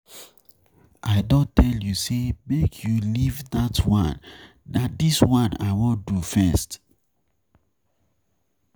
I don tell you say make you leave dat one, na dis one I wan do first.